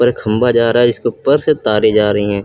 ये खंबा जा रहा है इसके ऊपर से तारे जा रही है।